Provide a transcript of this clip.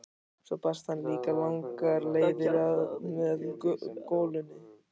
Svo barst hann líka langar leiðir að með golunni.